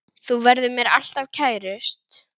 Þú verður mér alltaf kærust.